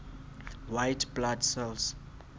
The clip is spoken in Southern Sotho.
white blood cells